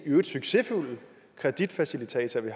succesfulde kreditfacilitatorer vi